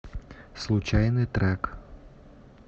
случайный трек